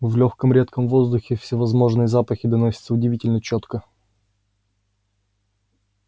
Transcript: в лёгком редком воздухе всевозможные запахи доносятся удивительно чётко